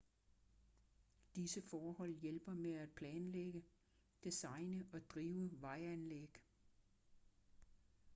disse forhold hjælper med at planlægge designe og drive vejanlæg